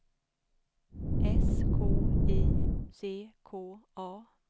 S K I C K A